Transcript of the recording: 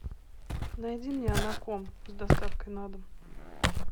найди мне анаком с доставкой на дом